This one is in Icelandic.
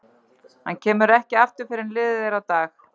Hann kemur ekki aftur fyrr en liðið er á dag.